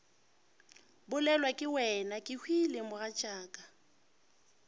bolelwa ke wena kehwile mogatšaka